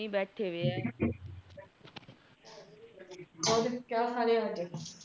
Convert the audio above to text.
ਕੁੱਛ ਨਹੀਂ ਬੈਠੇ ਵੇ ਆ ਕਿਆ ਖਾ ਰਹੇ।